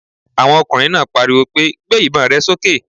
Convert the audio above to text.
Àwọn ọkùnrin náà pariwo pé! Gbé ìbon rẹ sókè